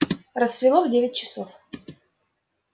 рассвело в девять часов